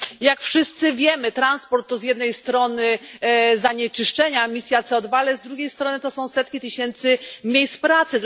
Jak wszyscy wiemy, transport to z jednej strony zanieczyszczenia, emisja CO2, ale z drugiej strony to są setki tysięcy miejsc pracy.